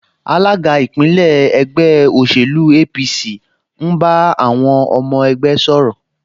Alága ìpínlẹ̀ ẹgbẹ́ òṣèlú APC ń bá àwọn ọmọ ẹgbẹ́ sọ̀rọ̀